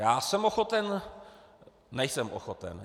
Já jsem ochoten - nejsem ochoten.